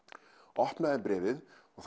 opnaði bréfið og